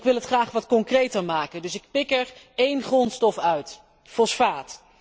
Ik wil het graag wat concreter maken, dus ik pik er één grondstof uit fosfaat.